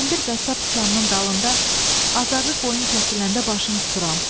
Hərdən bir qəssab dükanının dalında azarrı qoyun kəsiləndə başını tuturam.